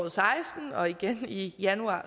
og seksten og igen i januar